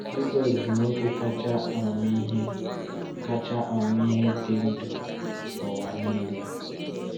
Jisọs bụ nwoke kacha amamihe kacha amamihe dị ndụ n’ụwa niile.